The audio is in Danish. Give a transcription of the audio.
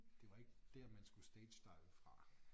Det var ikke der man skulle stagedive fra